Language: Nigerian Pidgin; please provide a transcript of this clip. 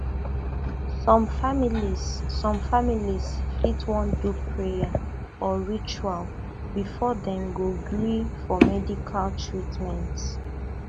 some families some families fit wan do prayer or ritual before dem go gree for medical treatment